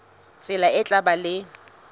tsela e tla ba le